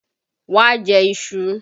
Wá jẹ iṣu!